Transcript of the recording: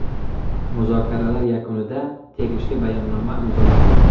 Muzokaralar yakunida tegishli bayonnoma imzolandi.